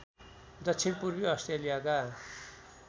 दक्षिण पूर्वी अस्ट्रेलियाका